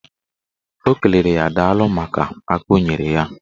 O kelere ya daalụ maka aka o nyere ya.